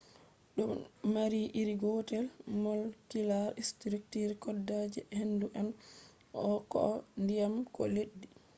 do mari iri gotel molecular structure koda je hendu on koh diyam ko leddi